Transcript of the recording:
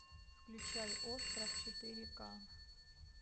включай остров четыре ка